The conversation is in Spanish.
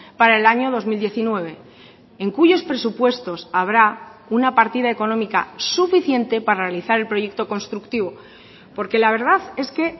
para el año dos mil diecinueve en cuyos presupuestos habrá una partida económica suficiente para realizar el proyecto constructivo porque la verdad es que